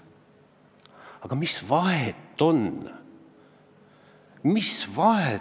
Aga mis vahet seal on?